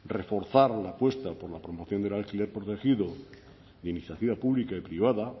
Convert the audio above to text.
reforzar la apuesta por la promoción del alquiler protegido de iniciativa pública y privada